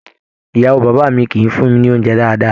Ìyàwó bàbá mí kìí fún mí ní oúnjẹ dáadáa.